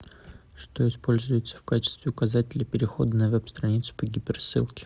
что используется в качестве указателя перехода на веб страницу по гиперссылке